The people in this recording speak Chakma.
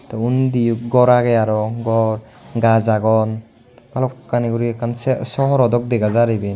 Te undiyo gor age aro gor gaaj agon ballokani uri ekkan sohor dok dega jar iben.